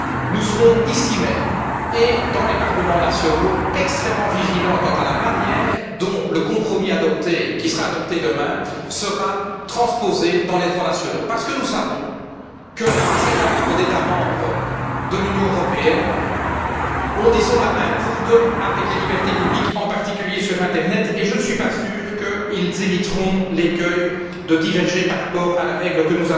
Nous serons, ici même et dans les parlements nationaux, extrêmement vigilants quant à la manière dont le compromis qui sera adopté demain sera transposé dans les droits nationaux, parce que nous savons qu'un certain nombre d'États membres de l'Union européenne ont, disons, la main lourde avec les libertés publiques en particulier sur l'internet et je ne suis pas sûr qu'ils éviteront l'écueil de diverger par rapport à la règle que